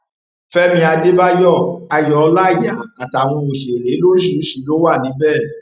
fẹmí àdébáyọ ayọ ọláíyà àtàwọn òṣèré lóríṣìíríṣìí ló wà níbẹ